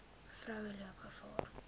vroue loop gevaar